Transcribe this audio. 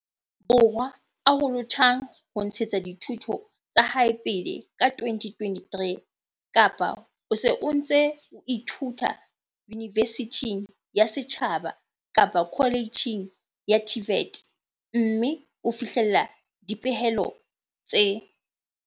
Borwa a lohothang ho ntshetsa dithuto tsa hae pele ka 2023 kapa o se o ntse o ithuta yunivesithing ya setjhaba kapa koletjheng ya TVET mme o fihlella dipehelo tse.